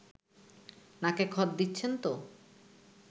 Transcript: নাকে খত দিচ্ছেন তো